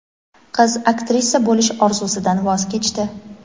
Qiz aktrisa bo‘lish orzusidan voz kechdi.